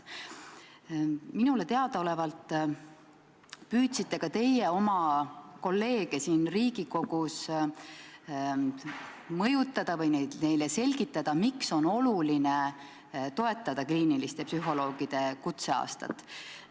Minule teadaolevalt püüdsite teie oma kolleege siin Riigikogus mõjutada või neile selgitada, miks on oluline toetada kliiniliste psühholoogide kutseaastat.